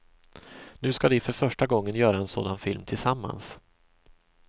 Nu ska de för första gången göra en sådan film tillsammans.